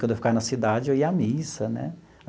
Quando eu ficava na cidade, eu ia à missa né.